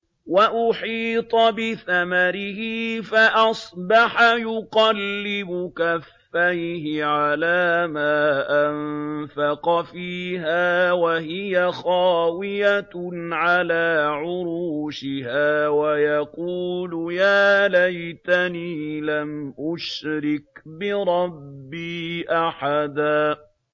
وَأُحِيطَ بِثَمَرِهِ فَأَصْبَحَ يُقَلِّبُ كَفَّيْهِ عَلَىٰ مَا أَنفَقَ فِيهَا وَهِيَ خَاوِيَةٌ عَلَىٰ عُرُوشِهَا وَيَقُولُ يَا لَيْتَنِي لَمْ أُشْرِكْ بِرَبِّي أَحَدًا